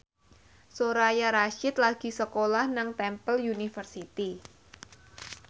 Soraya Rasyid lagi sekolah nang Temple University